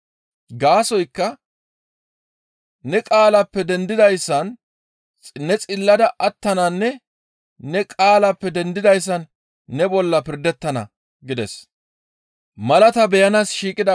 Gaasoykka ne qaalappe dendidayssan ne xillada attananne ne qaalappe dendidayssan ne bolla pirdettana» gides.